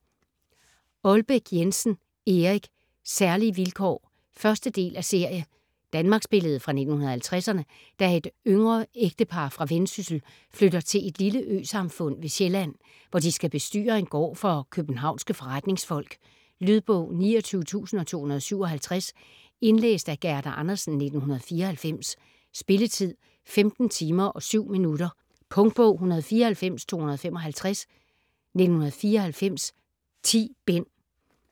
Aalbæk Jensen, Erik: Særlige vilkår 1. del af serie. Danmarksbillede fra 1950'erne, da et yngre ægtepar fra Vendsyssel flytter til et lille øsamfund ved Sjælland, hvor de skal bestyre en gård for københavnske forretningsfolk. Lydbog 29257 Indlæst af Gerda Andersen, 1994. Spilletid: 15 timer, 7 minutter. Punktbog 194255 1994. 10 bind.